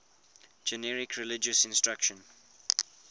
generic religious instruction